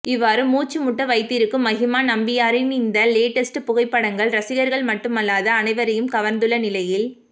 இவ்வாறு மூச்சு முட்ட வைத்திருக்கும் மகிமா நம்பியாரின் இந்த லேட்டஸ்ட் புகைப்படங்கள் ரசிகர்கள் மட்டுமல்லாது அனைவரையும் கவர்ந்துள்ள நிலையில்